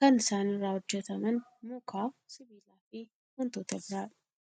Kan isaan irraa hojjataman muka , sibiilaafi wantoota biraadha.